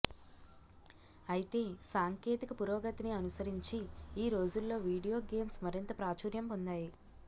అయితే సాంకేతిక పురోగతిని అనుసరించి ఈ రోజుల్లో వీడియో గేమ్స్ మరింత ప్రాచుర్యం పొందాయి